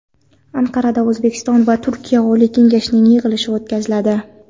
Anqarada O‘zbekiston va Turkiya Oliy kengashi yig‘ilishi o‘tkaziladi.